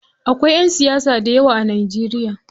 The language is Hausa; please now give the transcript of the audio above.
Akwai ƴan siyasa dayawa a Najeriya.